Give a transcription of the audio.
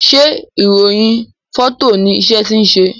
ṣe irohin Fọto ní iṣé tí ṣe?